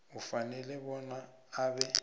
ufanele bona abe